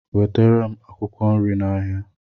wetara m akwụkwọ nri n'ahịa